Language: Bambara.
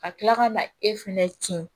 Ka kila ka na e fɛnɛ kin